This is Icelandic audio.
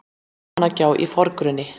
almannagjá í forgrunni